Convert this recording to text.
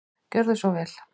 Gjörðu svo vel.